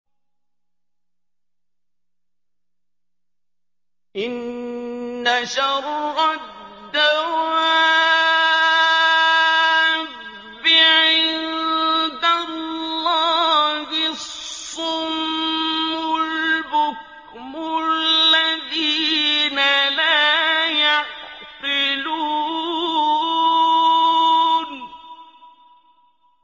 ۞ إِنَّ شَرَّ الدَّوَابِّ عِندَ اللَّهِ الصُّمُّ الْبُكْمُ الَّذِينَ لَا يَعْقِلُونَ